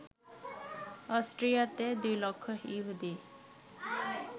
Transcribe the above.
অস্ট্রিয়াতে ২ লক্ষ ইহুদী